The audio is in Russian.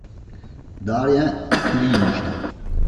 дарья ильинична